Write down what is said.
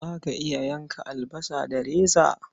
Za ka iya yanka albasa da reza?